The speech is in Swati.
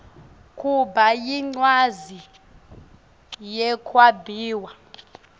kuba yincwadzi yekwabiwa